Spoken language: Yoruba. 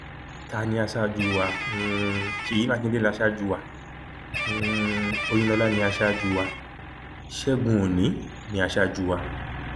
ta ni aṣáájú wa um ṣèyí mákindè ní aṣáájú wa um òyìnlọlá ní aṣáájú wa ṣẹgun ọnì ní aṣáájú wa